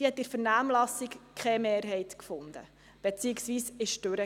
Sie fand in der Vernehmlassung keine Mehrheit, beziehungsweise sie fiel durch.